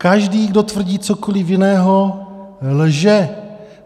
Každý, kdo tvrdí cokoli jiného, lže.